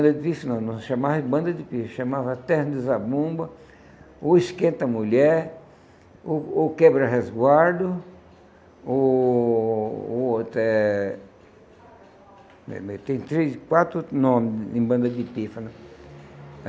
Não chamava de banda de pife, chamava de terra de zabumba, ou esquenta-mulher, ou ou quebra-resguardo, o o outro é tem três quatro outro nomes de banda de pífano.